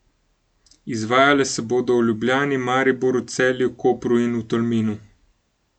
Izvajala se bodo v Ljubljani, Mariboru, Celju, Kopru in v Tolminu.